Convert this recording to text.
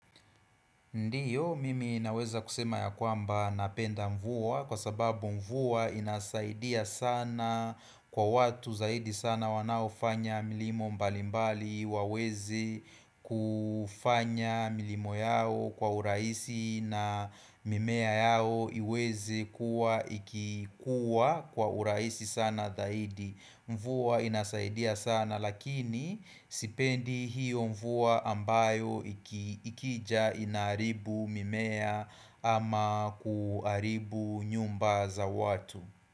Ndiyo mimi ninaweza kusema ya kwamba napenda mvua kwa sababu mvua inasaidia sana kwa watu zaidi sana wanaofanya milimo mbalimbali waweze kufanya milimo yao kwa urahisi na mimea yao iweze kua ikikuwa kwa urahisi sana zaidi. Mvua inasaidia sana lakini sipendi hiyo mvua ambayo ikija inaharibu mimea ama kuaribu nyumba za watu.